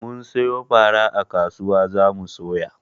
Mun siyo fara a kasuwa za mu soya.